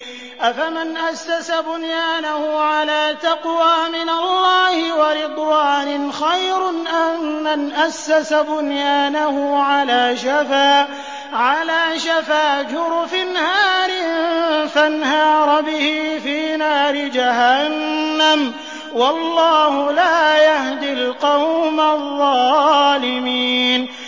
أَفَمَنْ أَسَّسَ بُنْيَانَهُ عَلَىٰ تَقْوَىٰ مِنَ اللَّهِ وَرِضْوَانٍ خَيْرٌ أَم مَّنْ أَسَّسَ بُنْيَانَهُ عَلَىٰ شَفَا جُرُفٍ هَارٍ فَانْهَارَ بِهِ فِي نَارِ جَهَنَّمَ ۗ وَاللَّهُ لَا يَهْدِي الْقَوْمَ الظَّالِمِينَ